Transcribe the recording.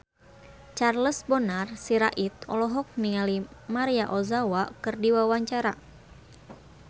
Charles Bonar Sirait olohok ningali Maria Ozawa keur diwawancara